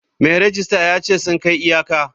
Mai rejista ya ce sun kai iyaka.